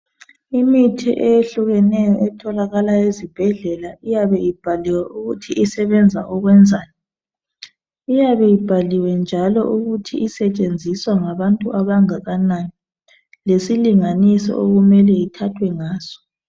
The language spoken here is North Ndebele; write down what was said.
Imithi eyehlukeneyo etholakala ezibhedlela. Iyabe ibhaliwe ukuthi isebenza ukwenzani, lyabe ibhaliwe njalo ukuthi isetshenziswa ngabantu abangakanani. Lesilinganiso, okumele ithathwe ngaso.